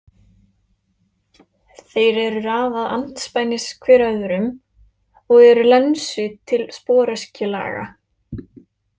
Þeir eru raðað andspænis hver öðrum og eru lensu- til sporöskju-laga.